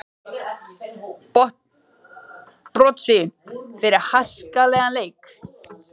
Brottvísun fyrir háskalegan leik?